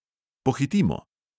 Pohitimo!